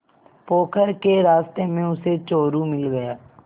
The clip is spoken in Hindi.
पोखर के रास्ते में उसे चोरु मिल गया